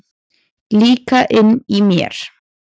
Líka inni í mér.